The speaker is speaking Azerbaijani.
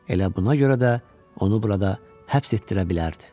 Elə buna görə də onu burada həbs etdirə bilərdi.